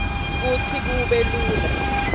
kutsi kube lula